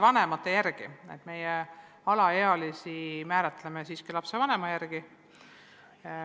Me neid alaealisi määratleme siiski lapsevanema järgi.